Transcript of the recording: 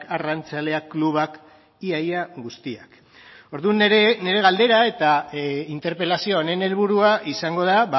arrantzaleak klubak ia ia guztiak orduan nire galdera eta interpelazio honen helburua izango da